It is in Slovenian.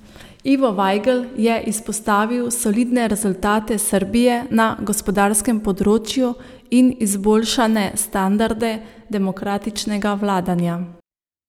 Ivo Vajgl je izpostavil solidne rezultate Srbije na gospodarskem področju in izboljšane standarde demokratičnega vladanja.